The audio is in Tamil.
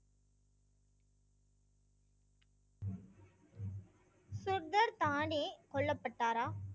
சுர்தர் தானே கொல்லப்பட்டாரா